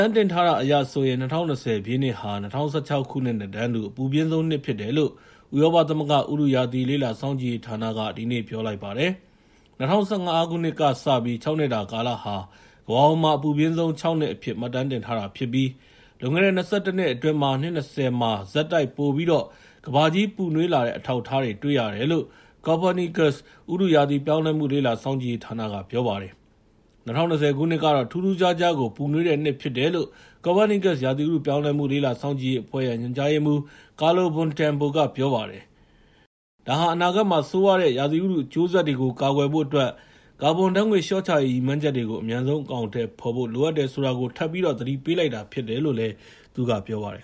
မ်းတင်ထားတာအရဆိုရင် ၂၀၂၀ ပြည့်နှစ်ဟာ ၂၀၁၆ ခုနှစ်နဲ့တန်းတူ အပူပြင်းဆုံးနှစ်ဖြစ်တယ်လို့ ဥရောပသမဂ္ဂ ဥတုရာသီလေ့လာစောင့်ကြည့်ရေးဌာနက ဒီနေ့ ပြောလိုက်ပါတယ်။ ၂၀၁၅ ခုနှစ်ကစပြီး ၆ နှစ်တာကာလဟာ ကမ္ဘာပေါ်မှာ အပူပြင်းဆုံး ၆ နှစ်အဖြစ် မှတ်တမ်းတင်ထားတာဖြစ်ပြီး လွန်ခဲ့တဲ့ ၂၁ နှစ်အတွင်း နှစ် ၂၀ မှာ ဆက်တိုက် ပိုပြီးတော့ ကမ္ဘာကြီး ပူနွေးလာတဲ့ အထောက်အထားတွေ တွေ့ရတယ်လို့ Copernicus ဥတုရာသီပြောင်းလဲမှု လေ့လာစောင့်ကြည့်ရေးဌာနက ပြောပါတယ်။ ၂၀၂၀ ခုနှစ်ကတော့ ထူးထူးခြားခြားကို ပူနွေးတဲ့နှစ်ဖြစ်တယ်လို့ Copernicus ရာသီဥတုပြောင်းလဲမှု လေ့လာစောင့်ကြည့်ရေးအဖွဲ့ ညွှန်ကြားရေးမှူး Carlo Buontempo က ပြောပါတယ်။ ဒါဟာ အနာဂတ်မှာ ဆိုးရွားတဲ့ ရာသီဥတုအကျိုးဆက်တွေကို ကာကွယ်ဖို့အတွက် ကာဗွန်ဓါတ်ငွေ့လျှော့ချရေး ရည်မှန်းချက်တွေကို အမြန်ဆုံးအကောင်အထည်ဖော်ဖို့ လိုအပ်တယ်ဆိုတာကို ထပ်ပြီးတော့ သတိပေးလိုက်တာဖြစ်တယ်လို့လည်း သူကပြောပါတယ်